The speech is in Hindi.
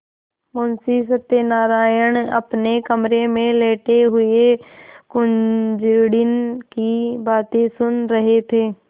मुंशी सत्यनारायण अपने कमरे में लेटे हुए कुंजड़िन की बातें सुन रहे थे